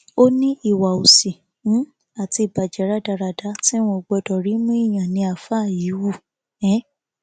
ó ní ìwà òsì um àti ìbàjẹ rádaràda tí wọn ò gbọdọ rí mọ èèyàn ni àáfáà yìí hù um